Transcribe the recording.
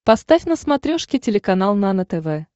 поставь на смотрешке телеканал нано тв